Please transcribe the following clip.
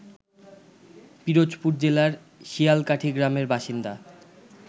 পিরোজপুর জেলার শিয়ালকাঠী গ্রামের বাসিন্দা